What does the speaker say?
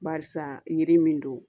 Barisa yiri min don